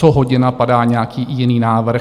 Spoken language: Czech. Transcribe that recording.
Co hodina, padá nějaký jiný návrh.